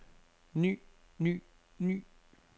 ny ny ny